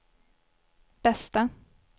bästa